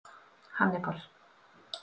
Hannibal